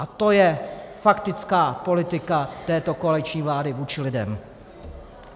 A to je faktická politika této koaliční vlády vůči lidem!